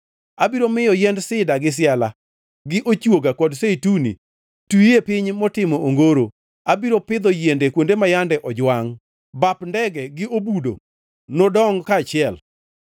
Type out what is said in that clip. Abiro miyo yiend sida gi siala, gi ochwoga kod zeituni twi e piny motimo ongoro. Abiro pidho yiende kuonde ma yande ojwangʼ, bap ndege gi obudo nodongʼ kaachiel,